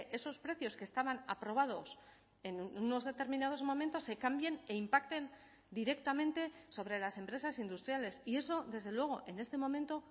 esos precios que estaban aprobados en unos determinados momentos se cambien e impacten directamente sobre las empresas industriales y eso desde luego en este momento